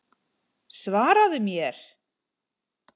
Svaraðu mér!